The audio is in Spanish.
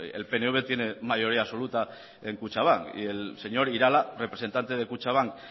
el pnv tiene mayoría absoluta en kutxabank y el señor irala representante de kutxabank